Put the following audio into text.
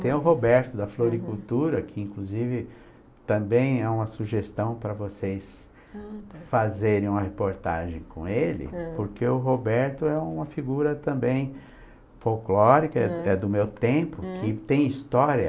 Tem o Roberto da Floricultura, que inclusive também é uma sugestão para vocês fazerem uma reportagem com ele, porque o Roberto é uma figura também folclórica, é do meu tempo, que tem história.